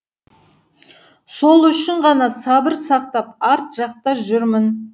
сол үшін ғана сабыр сақтап арт жақта жүрмін